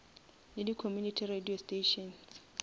le di community radio stations